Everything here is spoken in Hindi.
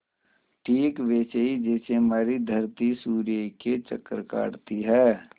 ठीक वैसे ही जैसे हमारी धरती सूर्य के चक्कर काटती है